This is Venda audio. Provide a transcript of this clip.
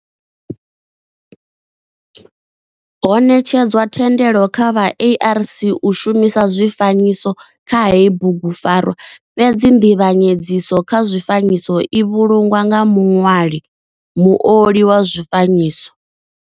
Ho netshedzwa thendelo kha vha ARC u shumisa zwifanyiso kha heyi bugupfarwa fhedzi nzivhanyedziso kha zwifanyiso i vhulungwa nga muṋwali muoli wa zwifanyiso.